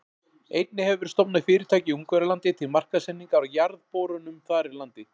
Einnig hefur verið stofnað fyrirtæki í Ungverjalandi til markaðssetningar á jarðborunum þar í landi.